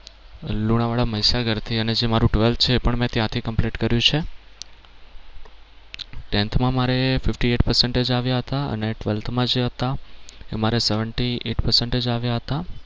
લુણાવાડા મહીસાગર થી અને જે મારુ twelfth છે એ પણ મેં ત્યાં થી complete કર્યું છે tenth માં મારે fifty eight percentage આવ્યા હતા અને twelfth માં જે હતા મારે seventy eight percentage આવ્યા હતા